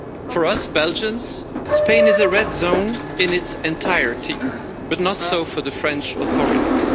For us Belgians, Spain is a red zone in its entirety, but not so for the French authorities.